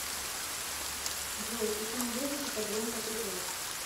джой почему ежики так громко топают